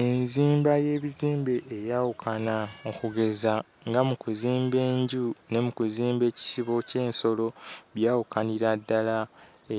Enzimba y'ebizimbe eyawukana okugeza nga mu kuzimba enju ne mu kuzimba ekisobo ky'ensolo byawukanira ddala